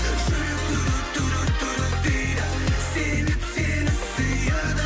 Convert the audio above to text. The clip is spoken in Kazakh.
жүрек дейді себеп сені сүйеді